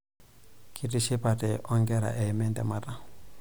Kitishipate onkera eima entemata.